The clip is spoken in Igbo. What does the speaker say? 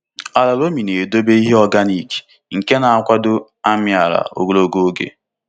Ala loamy na-edobe ihe organic nke na-akwado amị ala ogologo oge.